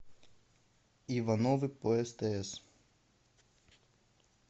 ивановы по стс